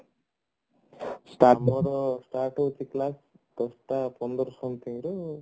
ସାଢେ ନରେ start ହଉଛି class ଦଶଟା ପନ୍ଦର something ରେ